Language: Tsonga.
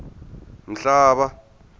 mhlava